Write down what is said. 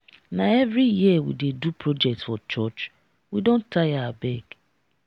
na every year we dey do project for church? we don tire abeg.